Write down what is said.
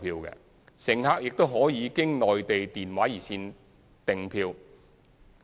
乘客也可經內地電話熱線訂票。